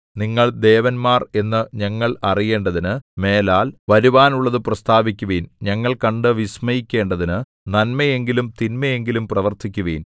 നിങ്ങൾ ദേവന്മാർ എന്നു ഞങ്ങൾ അറിയേണ്ടതിന് മേലാൽ വരുവാനുള്ളതു പ്രസ്താവിക്കുവിൻ ഞങ്ങൾ കണ്ടു വിസ്മയിക്കേണ്ടതിനു നന്മയെങ്കിലും തിന്മയെങ്കിലും പ്രവർത്തിക്കുവിൻ